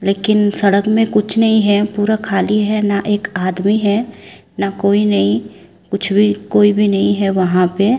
लेकिन सड़क में कुछ नहीं है पूरा खाली है ना एक आदमी है ना कोई नहीं कुछ भी कोई भी नहीं है वहां पे--